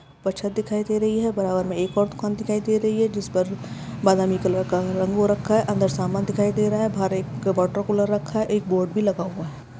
Number एक दुकान दिखाई दे रही है उसके ऊपर एक बोर्ड है जिस पर कुछ लगा लिखा हुआ है अंदर एक टेबल पड़ी है जिसके साथ कुर्सी पड़ी है बाहर साथ में दुकान है जिसमें बताया कुछ लिखा हुआ है दुकान के अंदर समान और बाहर एक वाटर कूलर रखा हुआ है।